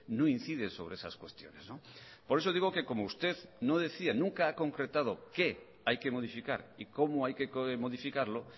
no incide sobre esas cuestiones por eso digo que como usted no decía nunca ha concretado qué hay que modificar y cómo hay que modificarlo